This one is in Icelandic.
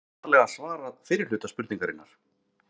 Hér var aðallega svarað fyrri hluta spurningarinnar.